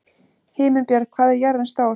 Himinbjörg, hvað er jörðin stór?